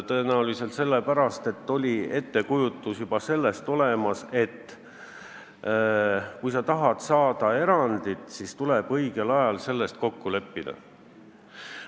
Tõenäoliselt sellepärast, et juba siis oli olemas ettekujutus, et kui tahame erandit saada, siis tuleb selles õigel ajal kokku leppida.